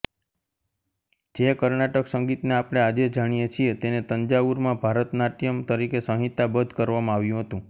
જે કર્ણાટક સંગીતને આપણે આજે જાણીએ છીએ તેને તંજાવુરમાં ભરતનાટ્યમ તરીકે સંહિતાબદ્ધ કરવામાં આવ્યું હતું